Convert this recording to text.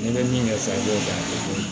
N'i bɛ min kɛ sisan k'o kɛ a tɛ foyi